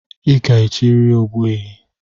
I ga-echiriri ogbuehi